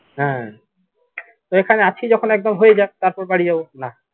হ্যা তো এখানে আছি যখন একদম হয়ে যাক তারপর বাড়ি যাবো নাহ